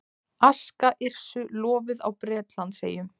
Aska Yrsu lofuð á Bretlandseyjum